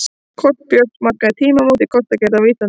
Kort Björns markaði tímamót í kortagerð á Íslandi.